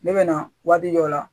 Ne bɛ na waati dɔ la